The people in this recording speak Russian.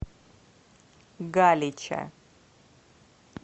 галича